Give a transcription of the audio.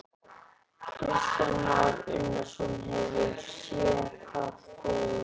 Kristján Már Unnarsson: Hefurðu séð það fegurra?